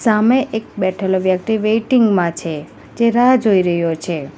સામે એક બેઠેલો વ્યક્તિ વેટિંગ મા છે જે રાહ જોઈ રહ્યો છે.